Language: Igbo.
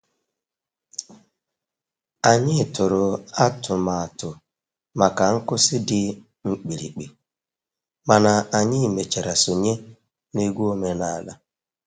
Anyị tụrụ atụmatụ maka nkwụsị dị mkpirikpi, mana anyị mechara sonye na egwu omenala.